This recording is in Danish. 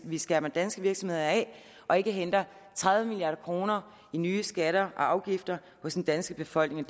vi skærmer danske virksomheder af og ikke henter tredive milliard kroner i nye skatter og afgifter hos den danske befolkning